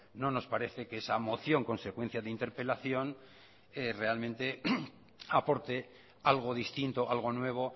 no nos parece que esa moción consecuencia de interpelación realmente aporte algo distinto algo nuevo